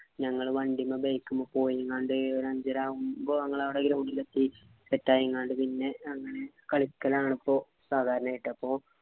ഞങ്ങൾ വണ്ടിമേ bike മെ പോയിക്കാണ്ട് ഒരു അഞ്ചര ആകുമ്പോൾ ഞങ്ങൾ അവിടെ ground യിൽ എത്തി set ആയിങ്ങാണ്ട് പിന്നെ കളിക്കലാണിപ്പോ സാധാരണയായിട്ട്